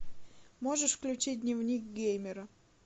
можешь включить дневник геймера